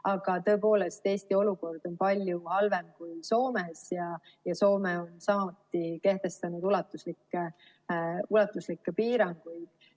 Aga tõepoolest, Eesti olukord on palju halvem kui Soomes ja Soome on samuti kehtestanud ulatuslikke piiranguid.